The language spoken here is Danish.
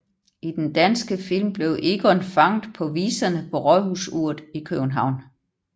I den danske film bliver Egon fanget på viserne på rådhusuret i København